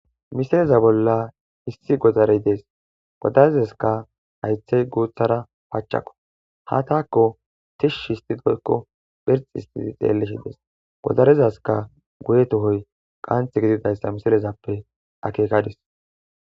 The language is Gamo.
Misileza bolla issi godarey dees ha godarezaska haythey guuthas pachako has tako tishi histin woyko phirxi histidi xelishe dees. Goderezas guye tohoy qansi gididaysa ha misilezape akekadis.